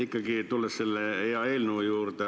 Ikkagi tulen selle hea eelnõu juurde.